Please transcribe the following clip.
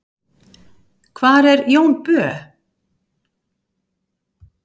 hvar er jón bö